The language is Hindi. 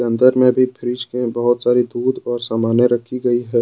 अंदर में भी फ्रिज में बहुत सारी दूध और सामानें रखी गई है।